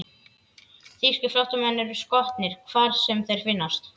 Þýskir flóttamenn eru skotnir, hvar sem þeir finnast.